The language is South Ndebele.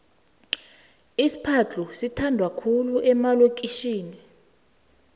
isiphadhlu sithandwa khulu emalokitjhini